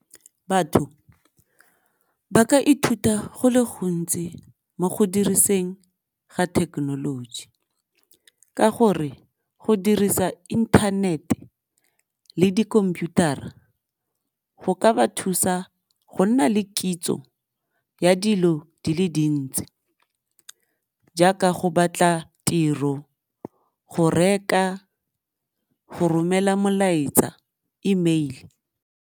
Batho ba ka ithuta go le gontsi mo go diriseng ga technology ka gore go dirisa internet-e le di-computer-a go ka ba thusa go nna le kitso ya dilo di le dintsi jaaka go batla tiro, go reka, go romela molaetsa email.